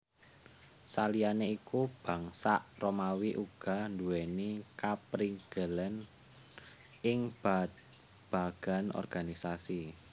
Saliyané iku Bangsa Romawi uga nduwèni kaprigelan ing babagan organisasi